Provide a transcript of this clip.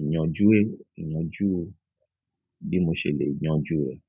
ìyànjú, ìyànjú bí mo ṣe lè yanjú rẹ̀.